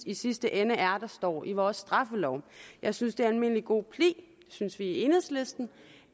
i sidste ende er der står i vores straffelov jeg synes det er almindelig god pli det synes vi i enhedslisten